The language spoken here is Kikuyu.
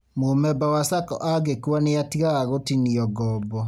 Mũmemba wa SACCO angĩkua nĩatigaga gũtinio ngoombo